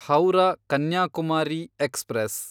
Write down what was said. Howrah Kanyakumari express